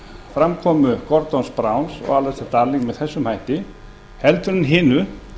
framkomu gordons brown og allisters darling með þessum hætti en hinu